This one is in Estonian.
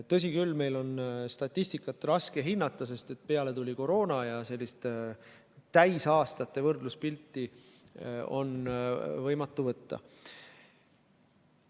Tõsi küll, meil on statistikat raske hinnata, sest peale tuli koroona ja sellist täisaastate võrdluspilti on võimatu võtta.